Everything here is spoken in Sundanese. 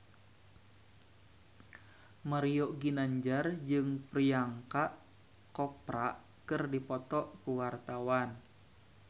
Mario Ginanjar jeung Priyanka Chopra keur dipoto ku wartawan